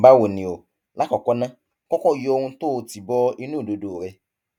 báwo ni o lákọọkọ ná kọkọ yọ ohun tó o tì bọ inú ìdodo rẹ